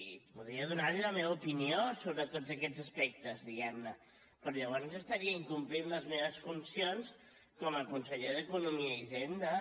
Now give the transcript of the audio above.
i podria donar li la meva opinió sobre tots aquests aspectes diguem ne però llavors estaria incomplint les meves funcions com a conseller d’economia i hisenda